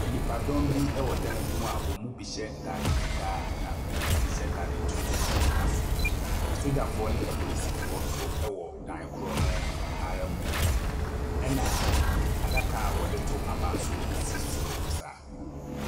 Ɛnipadɔm bi ɛwɔ dan bi mu a wɔn mu bi hyɛ ntaade fitaa na wɔn mu bi hyɛ ntaade tuntum a ɔgyina soro. Asogyafoɔ ne apolisifoɔ nso wɔ dan korɔ no ara mu. Ɛna adaka wɔde to aba nso esi soro saa.